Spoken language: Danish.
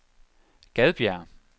Gadbjerg